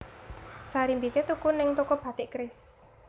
Sarimbite tuku ning toko Batik Keris